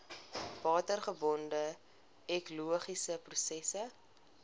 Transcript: watergebonde ekologiese prosesse